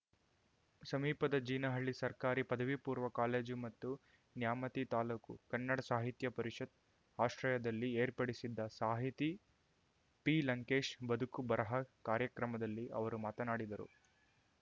ಸಮೀಪದ ಜೀನಹಳ್ಳಿ ಸರ್ಕಾರಿ ಪದವಿ ಪೂರ್ವ ಕಾಲೇಜು ಮತ್ತು ನ್ಯಾಮತಿ ತಾಲೂಕು ಕನ್ನಡ ಸಾಹಿತ್ಯ ಪರಿಷತ್‌ ಆಶ್ರಯದಲ್ಲಿ ಏರ್ಪಡಿಸಿದ್ದ ಸಾಹಿತಿ ಪಿಲಂಕೇಶ್‌ ಬದುಕುಬರಹ ಕಾರ್ಯಕ್ರಮದಲ್ಲಿ ಅವರು ಮಾತನಾಡಿದರು